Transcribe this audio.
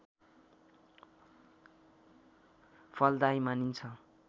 फलदायी मानिन्छ